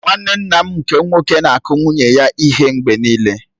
Nwanne nna m nke nwoke na-akụ nwunye ya ihe mgbe nịịle.